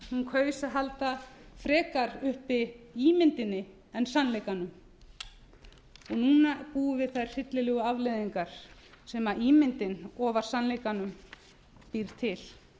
hún kaus að halda frekar uppi ímyndinni en sannleikanum og núna búum við þær hryllilegu afleiðingar sem ímyndin ofar sannleikanum býr til